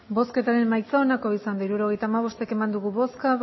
hirurogeita hamabost eman dugu bozka